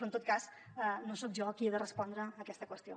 però en tot cas no soc jo qui he de respondre a aquesta qüestió